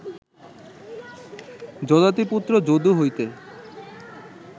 যযাতিপুত্র যদু হইতে